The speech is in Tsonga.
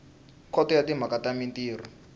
khoto ya timhaka ta mintirho